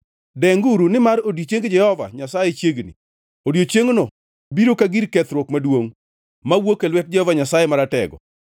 Denguru nimar odiechieng Jehova Nyasaye chiegni; odiechiengno biro ka gir kethruok maduongʼ mawuok e lwet Jehova Nyasaye Maratego.